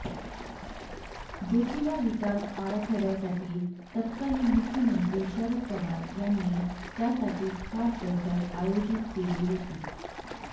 जोतिबा विकास आराखड्यासाठी तत्कालीन मुख्यमंत्री शरद पवार यांनी त्यासाठी खास बैठक आयोजित केली होती